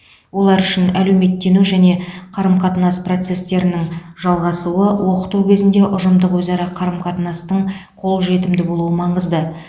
олар үшін әлеуметтену және қарым қатынас процестерінің жалғасуы оқыту кезінде ұжымдық өзара қарым қатынастың қол жетімді болуы маңызды